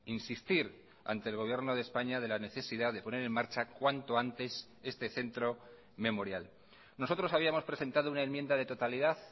insistir ante el gobierno de españa de la necesidad de poner en marcha cuanto antes este centro memorial nosotros habíamos presentado una enmienda de totalidad